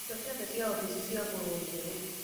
Indo ciothe cia ofici ciagũrwo njerũ.